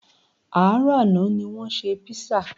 Àárọ̀ àná ní wọ́n ṣe písà